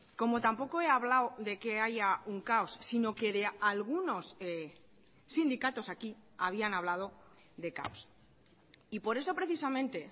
como tampoco he hablado de que haya un caos sino que de algunos sindicatos aquí habían hablado de caos y por eso precisamente